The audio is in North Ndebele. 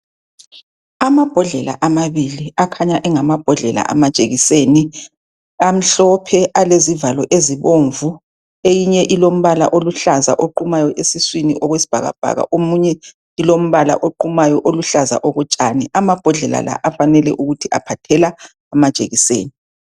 Amabhodlela amabili akhanya engamabhodlela amajekiseni amhlophe alezivalo ezibomvu eyinye ilombala oluhlaza oqumayo esiswini okwesibhakabhaka enye ilombala oqumayo olujlaza okotshani ababhodlela afanele ukuthi aphathela amajekiseni